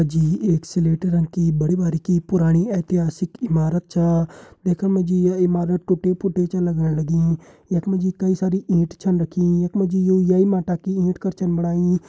मा जी एक स्लेटी रंग की बड़ी बारिकी पुराणी ऐतिहासिक इमारत छा देखण मा ये इमारत टुटि फुटि छा लगण लगीं यख मा जी कई सारी ईंट छन रखीं यख मा जी यु ये ही माटा की ईंट कर छन बणाई।